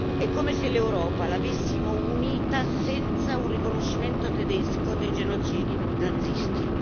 È come se l'Europa l'avessimo unita senza un riconoscimento tedesco dei genocidi nazisti.